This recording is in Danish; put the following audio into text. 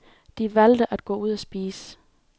De valgte at gå ud at spise.